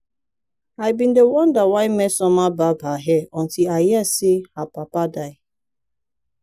i bin dey wonder why mmesoma barb her hair until i hear say her papa die